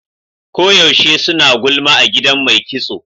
Ko yaushe suna gulma a gidan mai kitson.